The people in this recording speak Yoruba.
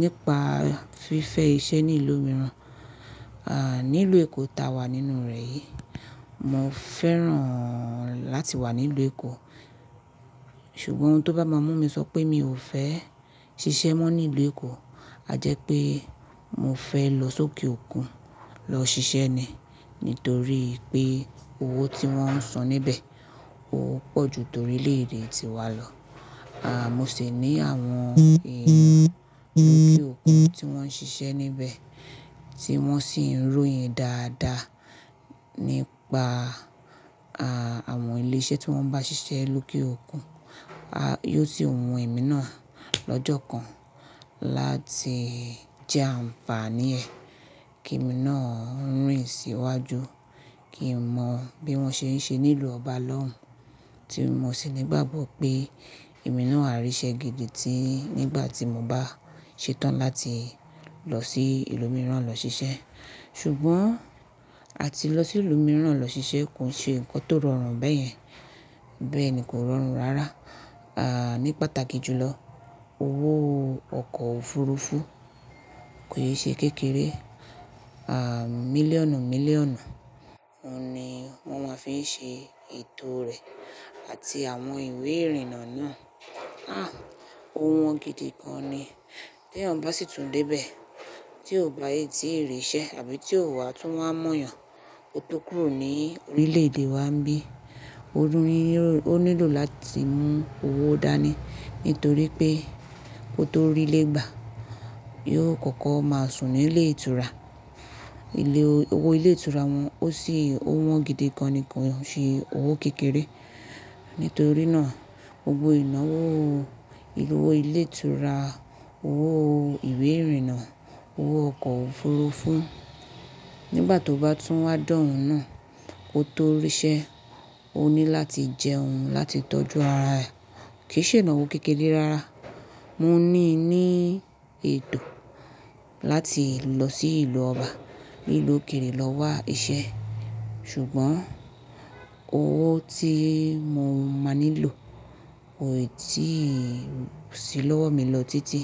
nípa fífẹ iṣẹ́ ní ìlú mìíràn, ah, ní ilu Èkó ta wà nínú rẹ̀ yìí, mo fẹ́ràn láti wà ní ilù Èkó. Ṣùgbọ́n ohun tó bá máa mú mi sọ pé mi ò fẹ́ ṣiṣẹ́ mọ́ ní ilù Èkó, a jẹ́ pé mo fẹ́ lọ sókè òkun lọ ṣiṣẹ́ ni. Nítorí pé owó tí wọ́n ń san níbẹ̀ ó pọ̀ ju torí ilẹ̀ èdè tí wa lọ. Ah, mo sì ní àwọn èrò ní òkè òkun tí wọ́n ń ṣiṣẹ́ níbẹ̀ tí wọ́n sì ń royin dáadáa nípa, ah, àwọn ilé iṣẹ́ tí wọ́n bá ṣiṣẹ́ lókè òkun. A, yóò sì wú ẹ̀mí náà lọ́jọ́ kan láti jẹ́ àǹfààní ẹ̀ kí ẹ̀mí náà rìn sí iwájú. Kí n mọ bí wọ́n ṣe ń ṣe nílùú ọba lọ́hun, tí mo sì nígbàgbọ́ pé ẹ̀mí náà á ríṣẹ́ gidi tí nígbà tí mo bá ṣetán láti lọ sí ìlú mìíràn lọ ṣiṣẹ́. Ṣùgbọ́n àti lọ sí ìlú mìíràn lọ ṣiṣẹ́ kò ṣe nǹkan tó rọrùn bẹ́yẹn. Bẹ́ẹ̀ni kò rọrùn rárá. Ah, ní pàtàkì jùlọ owó ọkọ̀ òfurufú kò yé ṣe kékeré. Ah, mílíọ̀nù-mílíọ̀nù ni wọ́n máa fi ń ṣe ètò rẹ̀ àti àwọn ìwé ìrìnnà náà. Ah, ò wọ́n gidi gan ni. Bí ẹ̀yàn bá sì tún dé ibẹ̀ tí ò bá yé tí ìrì ṣẹ́ àbí tí ò wá tún wá mọ̀yàn, kó tó kúrò ní orílẹ̀ èdè wa ńbí, ó nílò láti mú owó dání nítorí pé kó tó rílé gbà, yóò kọ́kọ́ máa sùn nílé ìtura. Ilé owó ilé ìtura wọ́n ó sì ó wọ́n gidi gan ni kò ṣe owó kékeré. Nítorí náà gbogbo ìnáwó owó ilé ìtura, owó ìwé ìrìnnà, owó ọkọ̀ òfurufú nígbà tó bá tún wá dọ̀hun náà kó tó ríṣẹ́, ó ní láti jẹ́ ohun láti tọ́jú ara ẹ̀ kì í ṣe ìnáwó kékeré rárá. Mo ní ní ètò láti lọ sí ìlú ọba, nílùú òkèrè lọ wá iṣẹ́. Ṣùgbọ́n owó tí mo máa nílò kò ì tí sì lọ́wọ́ mi lọ títí.